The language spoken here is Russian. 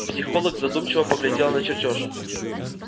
психолог задумчиво поглядела на чертёж